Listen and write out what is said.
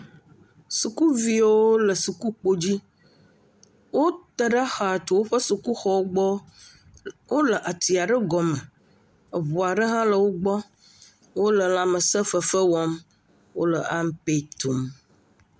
Sukuviawo le suku kpo dzi. Wo te ɖe xa tso woƒe suku xɔ wogbɔ. Wòle atia ɖe gɔme. Eʋua ɖe hã le wògbɔ. Wòle lãmese fefe wɔm, wole ampe tum .